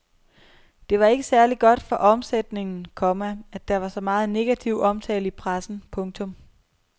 Det var ikke særlig godt for omsætningen, komma at der var så meget negativ omtale i pressen. punktum